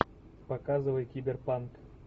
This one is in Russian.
показывай киберпанк